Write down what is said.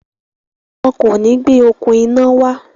Wọn kò ní gbé “okùn iná” wá.